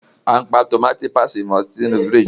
Àn pa Tómatí pasiti mọ sinu fíríjì.